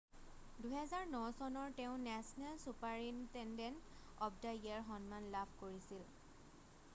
2009 চনৰ তেওঁ national superintendent of the year সন্মান লাভ কৰিছিল